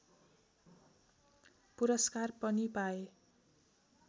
पुरस्कार पनि पाए